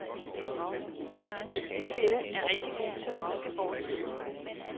Byens ældste kvinde er rigtig god til at huske fortiden.